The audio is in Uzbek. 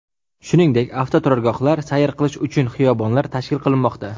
Shuningdek, avtoturargohlar, sayr qilish uchun xiyobonlar tashkil qilinmoqda.